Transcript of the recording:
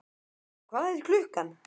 Héðinn, hvað er klukkan?